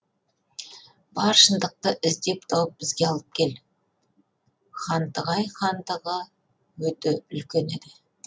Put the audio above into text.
бар шындықты іздеп тауып бізге алып кел хантығай хандығы өте үлкен еді